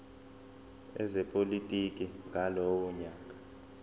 ezepolitiki ngalowo nyaka